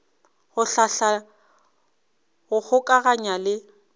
go hlahla go kgokaganya le